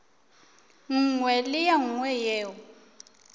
nngwe le ye nngwe yeo